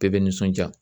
Bɛɛ bɛ nisɔndiya